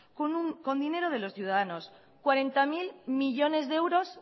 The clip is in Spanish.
con dinero de los ciudadanos cuarenta mil millónes de euros